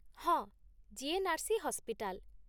ହଁ, GNRC. Hospital.